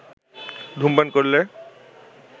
ধূমপান করলে